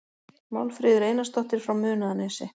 Málfríður Einarsdóttir frá Munaðarnesi